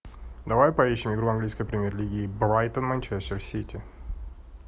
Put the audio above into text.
давай поищем игру английской премьер лиги брайтон манчестер сити